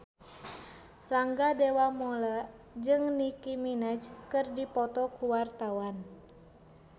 Rangga Dewamoela jeung Nicky Minaj keur dipoto ku wartawan